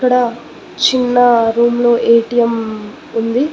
ఇక్కడ చిన్న రూమ్ లో ఏటీఎం ఉంది.